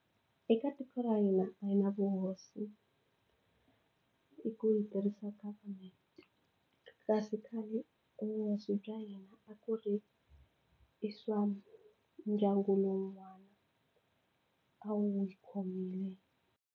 Eka tiko ra hina a hi na vuhosi i ku hi tirhisa government kasi khale vuhosi bya hina a ku ri i swa ndyangu lowun'wani a wu n'wi khomile.